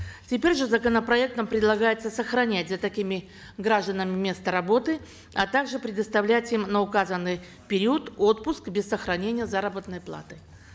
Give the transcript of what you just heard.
теперь же законопроектом предлагается сохранять за такими гражданами место работы а также предоставлять им на указанный период отпуск без сохранения заработной платы